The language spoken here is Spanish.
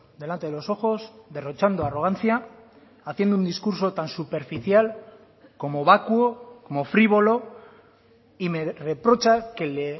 delante de los ojos derrochando arrogancia haciendo un discurso tan superficial como vacuo como frívolo y me reprocha que le